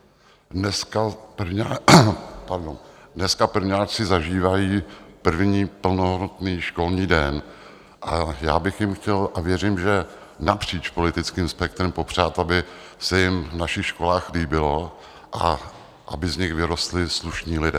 Dneska prvňáčci zažívají první plnohodnotný školní den a já bych jim chtěl - a věřím, že napříč politickým spektrem - popřát, aby se jim v našich školách líbilo a aby z nich vyrostli slušní lidé.